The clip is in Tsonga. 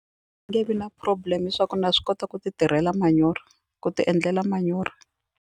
Nge vi na problem swa ku na swi kota ku ti tirhela manyoro ku ti endlela manyoro.